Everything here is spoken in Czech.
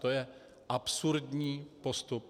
To je absurdní postup.